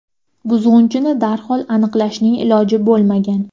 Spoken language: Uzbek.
Buzg‘unchini darhol aniqlashning iloji bo‘lmagan.